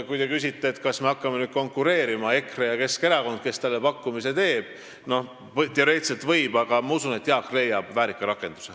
Kui te küsite, kas me hakkame nüüd konkureerima – EKRE ja Keskerakond –, kes talle pakkumise teeb, siis teoreetiliselt võib, aga ma usun, et Jaak leiab väärika rakenduse.